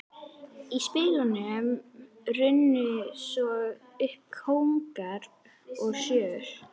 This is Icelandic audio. Í spilunum runnu svo upp kóngar og sjöur.